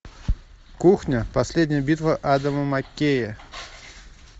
кухня последняя битва адама маккея